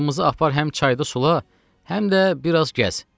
atımızı apar həm çayda sula, həm də biraz gəz.”